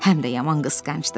Həm də yaman qısğancdır.